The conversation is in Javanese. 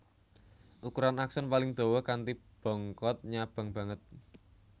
Ukuran akson paling dawa kanthi bongkot nyabang banget